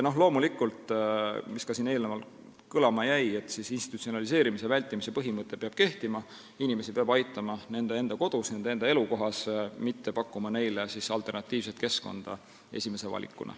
Loomulikult, mis siin ka eelnevalt kõlama jäi, institutsionaliseerimise vältimise põhimõte peab kehtima, inimesi peab aitama nende kodus, nende elukohas, ei ole vaja pakkuda neile esimese valikuna alternatiivset keskkonda.